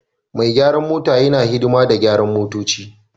Mai gyaran mota yana hidima da gyaran motoci